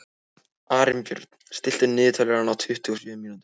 Arinbjörn, stilltu niðurteljara á tuttugu og sjö mínútur.